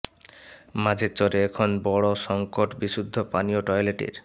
মাঝের চরে এখন বড় সংকট বিশুদ্ধ পানি ও টয়লেটের